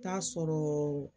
T'a sɔrɔ